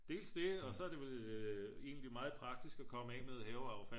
dels det og så er det vel egentlig meget praktisk at komme med haveaffald